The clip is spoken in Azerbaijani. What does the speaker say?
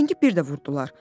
Zəngi bir də vurdular.